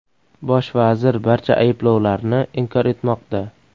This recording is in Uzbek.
Bosh vazir barcha ayblovlarni inkor etmoqda.